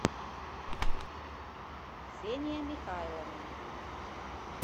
ксения михайловна